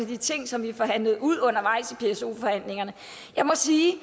de ting som vi forhandlede ud undervejs i pso forhandlingerne jeg må sige at